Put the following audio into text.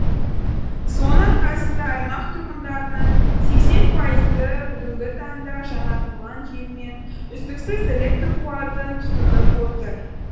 соның арқасында аймақ тұрғындарының сексен пайызы бүгінгі таңда жаңартылған желімен үздіксіз электр қуатын тұтынып отыр